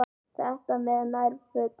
Þetta með nærfötin.